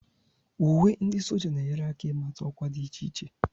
Uwe ndi sójá na-enyere aka ịmata ọkwa dị iche iche